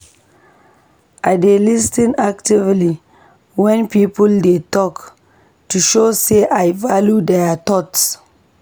I dey lis ten actively wen people dey talk to show sey I value dia thoughts.